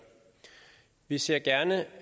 vi ser gerne